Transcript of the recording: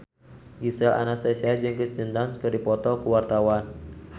Gisel Anastasia jeung Kirsten Dunst keur dipoto ku wartawan